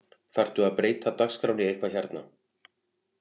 Þarftu að breyta dagskránni eitthvað hérna